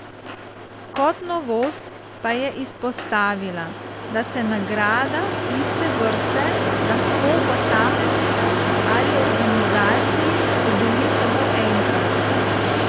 Kot novost pa je izpostavila, da se nagrada iste vrste lahko posamezniku ali organizaciji podeli samo enkrat.